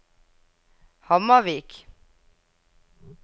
Hamarvik